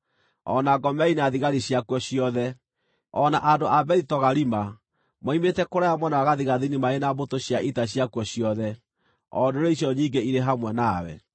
o na Gomeri na thigari ciakuo ciothe, o na andũ a Bethi Togarima moimĩte kũraya mwena wa gathigathini marĩ na mbũtũ cia ita ciakuo ciothe, o ndũrĩrĩ icio nyingĩ irĩ hamwe nawe.